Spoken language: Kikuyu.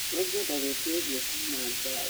Nĩngwenda ngwitia irio kuuma Java